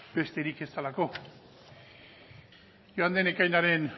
besterik ez delako joan den ekainaren